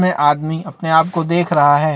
जिसमे आदमी अपने आपको देख रहा है।